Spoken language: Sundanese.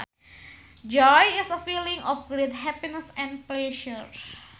Joy is a feeling of great happiness and pleasure